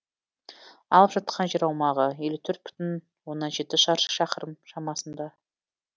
алып жатқан жер аумағы елу төрт бүтін оннан жеті шаршы шақырым шамасында